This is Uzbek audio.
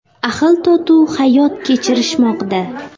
Ahil-totuv hayot kechirishmoqda.